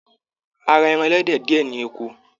A ra ẹran ẹlẹdẹ diẹ ní oko.